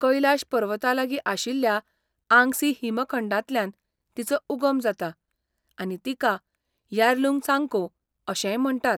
कैलाश पर्वतालागीं आशिल्ल्या आंगसी हिमखंडांतल्यान तिचो उगम जाता आनी तिका यार्लुंग त्सांगपो अशेंय म्हणटात.